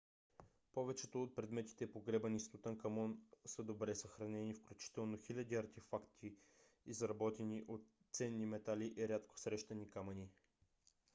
повечето от предметите погребани с тутанкамон са добре съхранени включително хиляди артефакти изработени от ценни метали и рядко срещани камъни